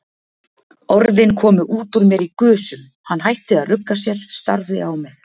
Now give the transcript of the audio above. Orðin komu út úr mér í gusum, hann hætti að rugga sér, starði á mig.